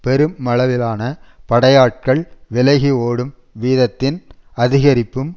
பெருமளவிலான படையாட்கள் விலகி ஓடும் வீதத்தின் அதிகரிப்பும்